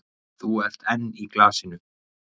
Þú ert enn í glasinu?